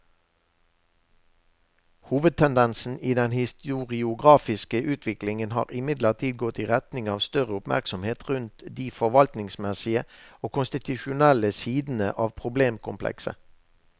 Hovedtendensen i den historiografiske utviklingen har imidlertid gått i retning av større oppmerksomhet rundt de forvaltningsmessige og konstitusjonelle sidene av problemkomplekset.